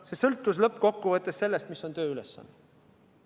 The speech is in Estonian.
See sõltus lõppkokkuvõttes sellest, mis on tööülesanne.